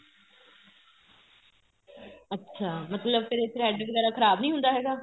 ਅੱਛਾ ਮਤਲਬ ਫੇਰ thread ਵਗੈਰਾ ਖਰਾਬ ਨੀਂ ਹੁੰਦਾ ਹੈਗਾ